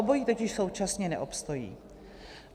Obojí totiž současně neobstojí.